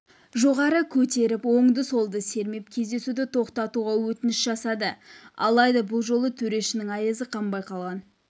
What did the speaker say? жоғары көтеріп оңды-солды сермеп кездесуді тоқтатуға өтініш жасады алайда бұл жолы төрешінің айызы қанбай қалған